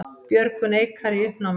Björgun Eikar í uppnámi